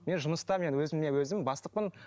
мен жұмыста мен өзіме өзім бастықпын